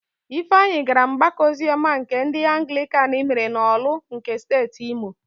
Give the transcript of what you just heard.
Ifeanyị gara ọgbakọ oziọma nke ndị Anglịkan mere n'Ọ̀lụ́ nke Steeti Imo.